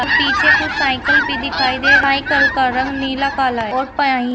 पीछे कुछ साइकल भी दिखाई दे रही साइकल का रंग नीला काला है और पा--